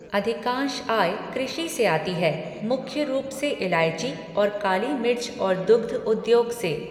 अधिकांश आय कृषि से आती है, मुख्य रूप से इलायची और काली मिर्च और दुग्ध उद्योग से।